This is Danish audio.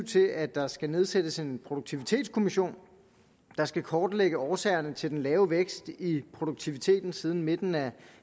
til at der skal nedsættes en produktivitetskommission der skal kortlægge årsagerne til den lave vækst i produktiviteten siden midten af